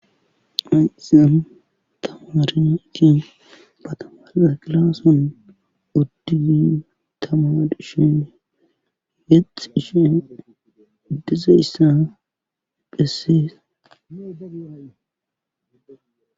mayizyan tamaarikin batamaa gilaason oddiyi tamadishen yexxishen dizeyssa phessisa